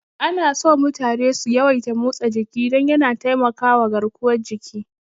Anaso mutane su yawaita motsa jiki don yana taimakama garkuwar jiki.